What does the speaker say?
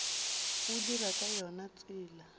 o dira ka yona tsela